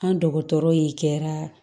An dɔgɔtɔrɔ ye jɛya